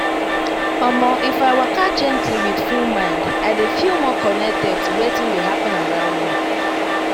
omo if i waka gently with full mind i dey feel more connected to wetin dey happen around me.